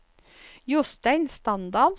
Jostein Standal